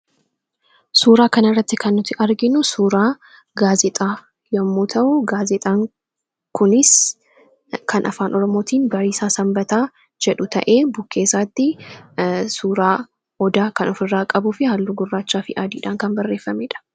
Suuraa kana irratti kan nuti arginu suuraa gaazexaa yommuu ta'u, gaazexaan kunis kan Afaan Oromootiin 'Bariisaa Sanbataa' jedhu ta'ee bukkee isaatti suuraa odaa kan ofirraa qabuu fi halluu gurraachaa fi adiidhaan kan barreeffame dha.